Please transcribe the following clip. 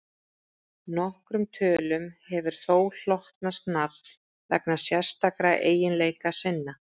nokkrum tölum hefur þó hlotnast nafn vegna sérstakra eiginleika sinna